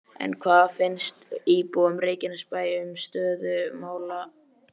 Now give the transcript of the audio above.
En hvað finnst íbúum Reykjanesbæjar um stöðu mála?